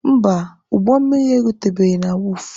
Mba, ụgbọ mmiri erutebeghi na wọọfụ.